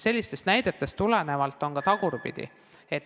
Sellistest näidetest tulenevalt on selge, et on ka tagurpidi olukordi.